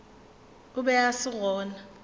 o be a se gona